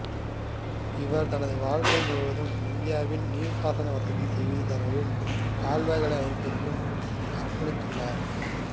இவர் தனது வாழ்க்கை முழுவதையும் இந்தியாவில் நீர்ப்பாசன வசதி செய்துதரவும் கால்வாய்களை அமைப்பதிலும் அர்ப்பணித்தார்